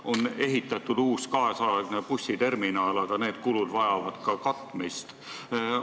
On ehitatud uus kaasaegne bussiterminal, aga need kulud vajavad katmist.